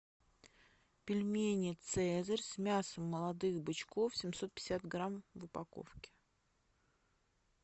пельмени цезарь с мясом молодых бычков семьсот пятьдесят грамм в упаковке